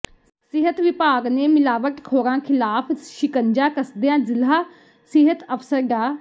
ਸਿਹਤ ਵਿਭਾਗ ਨੇ ਮਿਲਾਵਟਖੋਰਾਂ ਖ਼ਿਲਾਫ਼ ਸ਼ਿਕੰਜਾ ਕੱਸਦਿਆਂ ਜ਼ਿਲ੍ਹਾ ਸਿਹਤ ਅਫਸਰ ਡਾ